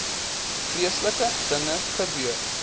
vreeslike dinge gebeur